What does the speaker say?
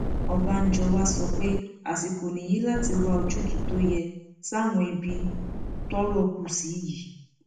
ọbànjọ wàá sọ pé pé àsìkò nìyí láti wá ojúùtú tó yẹ sáwọn ibi tọrọ kù sí yìí